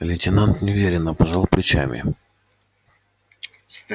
лейтенант неуверенно пожал плечами